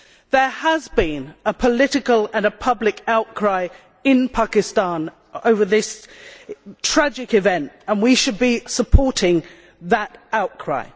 There has been political and public outcry in Pakistan over this tragic event, and we should be supporting that outcry.